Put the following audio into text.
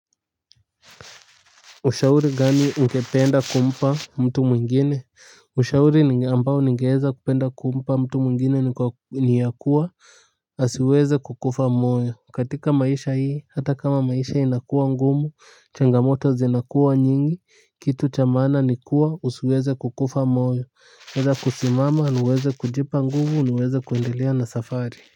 Ushauri gani ungependa kumpa mtu mwingine? Ushauri ambao ningweza kupenda kumpaa mtu mwingine ni ya kuwa, asiweze kukufa moyo. Katika maisha hii, hata kama maisha inakuwa ngumu, changamoto zinakuwa nyingi, kitu cha maana ni kuwa, usiweze kukufa moyo. Weza kusimama na uweze kujipa nguvu na uweze kuendelea na safari.